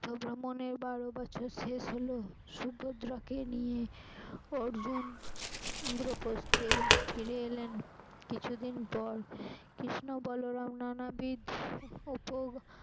ভ্রমনের বারো বছর শেষ হল সুভদ্রাকে নিয়ে অর্জুন ইন্দ্রপ্রস্থে ফিরে এলেন কিছুদিন পর কৃষ্ণ বল